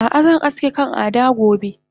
Ah ah zan aske kan Ada gobe